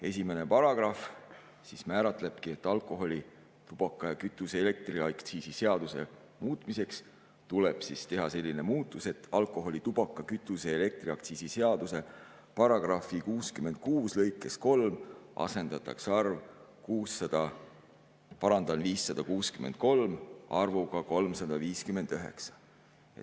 Esimene paragrahv määratlebki, et alkoholi‑, tubaka‑, kütuse‑ ja elektriaktsiisi seaduse muutmiseks tuleb teha selline muudatus, et alkoholi‑, tubaka‑, kütuse‑ ja elektriaktsiisi seaduse § 66 lõikes 3 asendatakse arv 563 arvuga 359.